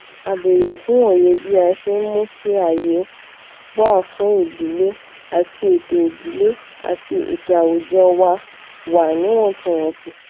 a béèrè fún òye bí a ṣe ń mú kí aaye fun ìdílé ati eto ìdílé ati eto awùjọwà wa níwòntúnwònsì